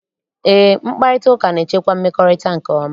Eé, mkparịtaụka na-echekwa mmekọrịta nke ọma.